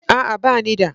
A'a, ba ni da